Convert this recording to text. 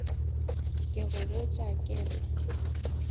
ke go botša ke re